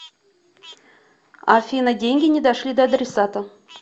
афина деньги не дошли до адресата